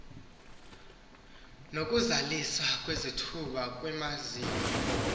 nokuzaliswa kwezithuba kwimaziko